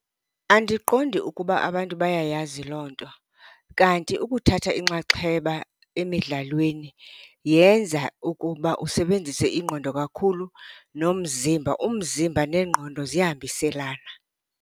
Andiqondi ukuba abantu bayayazi loo nto. Kanti ukuthatha inxaxheba emidlalweni yenza ukuba usebenzise ingqondo kakhulu nomzimba. Umzimba nengqondo ziyahambiselana.